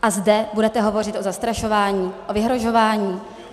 A zde budete hovořit o zastrašování a vyhrožování?